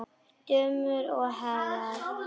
Dömur og herrar!